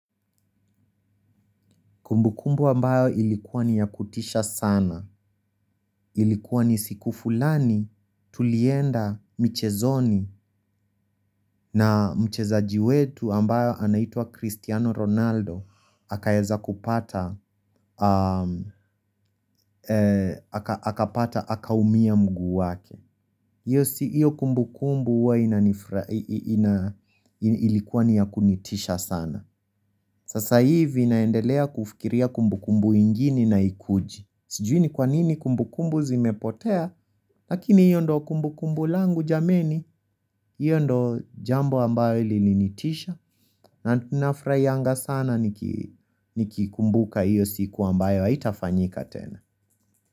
Kumbu kumbu ambayo ilikuwa ni ya kutisha sana, ilikuwa ni siku fulani tulienda michezoni na mchezaji wetu ambayo anaitwa Cristiano Ronaldo, aka eza kupata, haka umia mguu wake. Iyo kumbu kumbu huwa ilikuwa niya kunitisha sana. Sasa hivi naendelea kufikiria kumbu kumbu ingine na ikuji. Sijui ni kwanini kumbu kumbu zimepotea, lakini iyo ndo kumbu kumbu langu jameni, iyo ndo jambo ambayo ili linitisha, na nafraianga sana nikikumbuka iyo siku ambayo itafanyika tena.